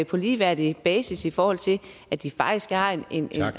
på ligeværdig basis i forhold til at de faktisk har en